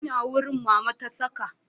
Ina wurin Mama ta saka